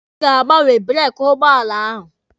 Ị ga-agbanwe breeki ụgbọala ahụ!